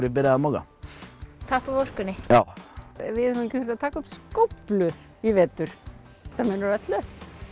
ég byrjaði að moka tappa af orkunni já við höfum ekki þurft að taka upp skóflu í vetur þetta munar öllu